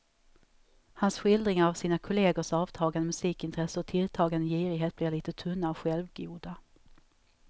Hans skildringar av sina kollegors avtagande musikintresse och tilltagande girighet blir lite tunna och självgoda.